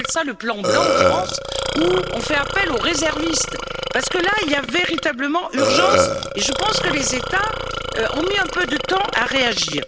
médical. On appelle ça le plan blanc en France, où on fait appel aux réservistes parce que là, il y a véritablement urgence. Et je pense que les États ont mis un peu de temps